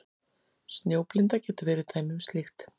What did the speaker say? Snjóblinda getur verið dæmi um slíkt.